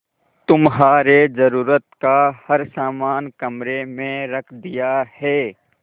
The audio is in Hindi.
तुम्हारे जरूरत का हर समान कमरे में रख दिया है